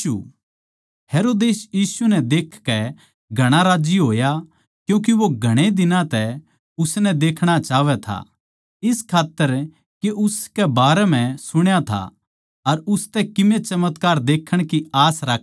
हेरोदेस यीशु नै देखकै घणा राज्जी होया क्यूँके वो घणै दिनां तै उसनै देखणा चाहवै था इस खात्तर के उसके बारे म्ह सुण्या था अर उसतै किमे चमत्कार देखण की आस राक्खै था